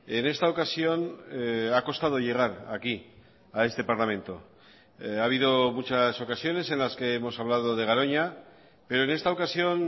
en esta ocasión ha costado llegar aquí a este parlamento ha habido muchas ocasiones en las que hemos hablado de garoña pero en esta ocasión